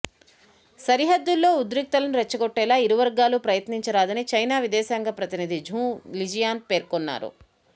సరిహద్దుల్లో ఉద్రిక్తలను రెచ్చగొట్టేలా ఇరువర్గాలు ప్రయత్నించరాదని చైనా విదేశాంగశాఖ ప్రతినిధి ఝావ్ లిజియాన్ పేర్కొన్నారు